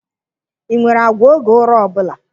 Ị nwere àgwà oge ụra ọ bụla?